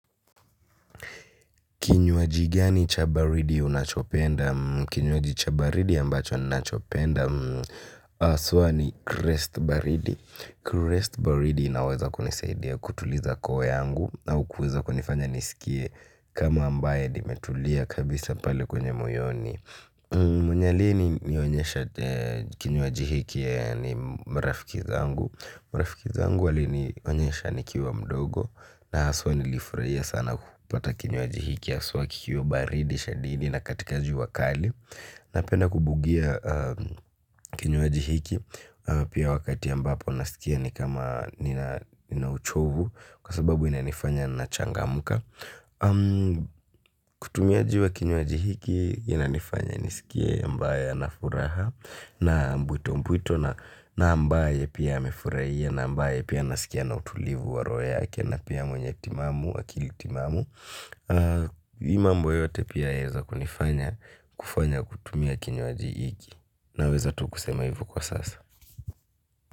Kinywaji gani chabaridi unachopenda? Kinywaji chabaridi ambacho nachopenda? Aswa ni krest baridi. Krest baridi inaweza kunisaidia kutuliza koo yangu au kuweza kunifanya nisikie kama ambaye nimetulia kabisa pale kwenye moyoni. Mwenye alienionyesha kinywaji hiki ni marafiki zangu. Marafiki zangu wali ni onyesha ni kiwa mdogo. Na aswa nilifurahia sana kupata kinywaji hiki. Aswa kikiwa baridi shadidi na katika jua kali. Napenda kubugia kinywaji hiki. Pia wakati ambapo nasikia ni kama nina uchovu kwa sababu inanifanya na changa muka. Kutumia jiwe kinywaji hiki inanifanya nisikie ambaye anafuraha. Na mbwito mbwito na ambaye pia amefurahia. Na ambaye pia anasikia ana utulivu wa roho yake. Na pia mwenye timamu akili timamu hii mambo yote pia yaeza kunifanya kufanya kutumia kinywaji hiki. Na weza tu kusema hivo kwa sasa.